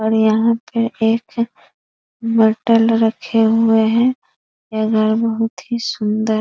और यहाँ पर एक बोतल रखे हुए है ये घर बहुत ही सुंदर --